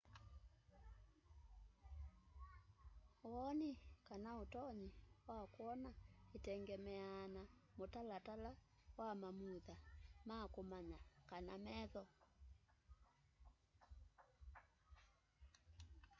woni kana utonyi wa kwona itengemeaa na mutalatala wa mamutha ma kumanya kana metho